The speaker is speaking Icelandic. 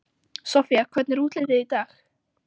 Soffía, hvernig er útlitið í dag?